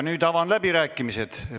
Nüüd avan läbirääkimised.